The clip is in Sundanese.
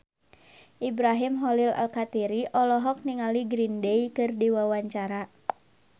Ibrahim Khalil Alkatiri olohok ningali Green Day keur diwawancara